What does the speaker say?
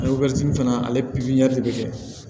fana ale de bɛ kɛ